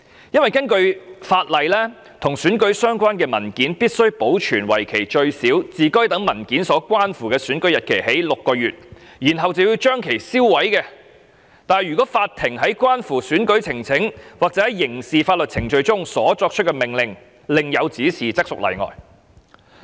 根據《選舉管理委員會規例》，與選舉相關的文件必須保存為期最少自該等文件所關乎的選舉日期起計6個月，然後將其銷毀，但如法庭在關乎選舉呈請或在刑事法律程序中所作出的命令另有指示，則屬例外。